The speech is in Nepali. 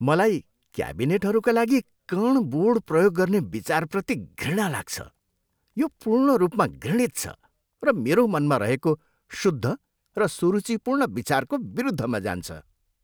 मलाई क्याबिनेटहरूका लागि कण बोर्ड प्रयोग गर्ने विचारप्रति घृणा लाग्छ। यो पूर्ण रूपमा घृणित छ र मेरो मनमा रहेको शुद्ध र सुरुचिपूर्ण विचारको विरुद्धमा जान्छ।